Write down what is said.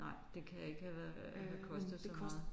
Nej det kan ikke have været have kostet så meget